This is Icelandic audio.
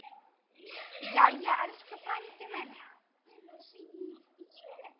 Jæja, elsku frændi minn.